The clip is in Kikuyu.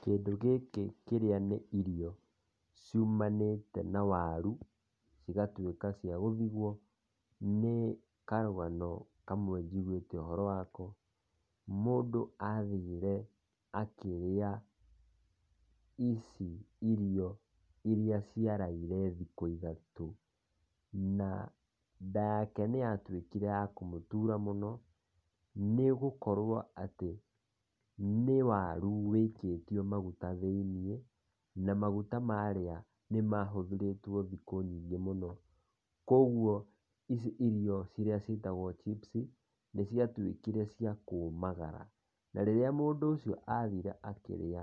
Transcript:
Kĩndũ gĩkĩ kĩrĩa nĩ irio ciumananĩte na waru cigatuika cia gũthiguo, Ni karũgano kamwe njĩguite ũhoro wako mũndũ athire akĩria ici irio ĩrĩa ciaraire thikũ ithatũ na nda yake nĩ ya tũikire ya kũmũtũra mũno nĩgũkorwo atĩ nĩ warũ waikĩtio maguta thĩinĩ na magũta marĩa nĩ mahũthĩrĩtwo thikũ nyingĩ mũno kogũo ici irio ĩrĩa ciĩtagwo cibuci nĩ ciatũikire cia kũmagara na rĩrĩa mũndũ ũcio athĩre akĩria